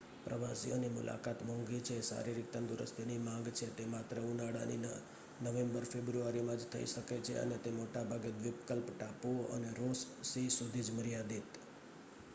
પ્રવાસીઓની મુલાકાત મોંઘી છે શારીરિક તંદુરસ્તીની માંગ છે તે માત્ર ઉનાળાની નવેમ્બર-ફેબ્રુઆરીમાં જ થઈ શકે છે અને તે મોટા ભાગે દ્વીપકલ્પ ટાપુઓ અને રોસ સી સુધી જ મર્યાદિત